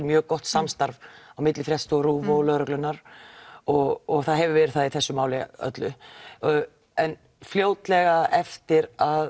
mjög gott samstarf milli fréttastofu RÚV og lögreglunnar og það hefur verið það í þessu máli öllu en fljótlega eftir að